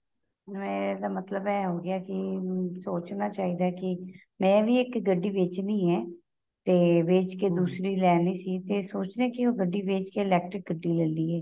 ਏਹ ਮਤਲਬ ਏਹ ਹੋ ਗਿਆ ਕੀ ਸੋਚਣਾ ਚਾਹੀਦਾ ਹੈ ਕੀ ਮੈਂ ਵੀ ਇੱਕ ਗੱਡੀ ਵੇਚਣੀ ਏ ਤੇ ਵੇਚ ਕੇ ਦੂਸਰੀ ਲੈਣੀ ਸੀ ਤੇ ਸੋਚ ਰਹੀ ਹਾਂ ਕੇ ਉਹ ਗੱਡੀ ਵੇਚ ਕੇ electric ਗੱਡੀ ਲੇਲੀਏ